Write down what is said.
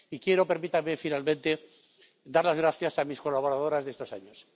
Y quiero, permítanme, finalmente dar las gracias a mis colaboradoras de estos años.